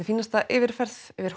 fínasta yfirferð yfir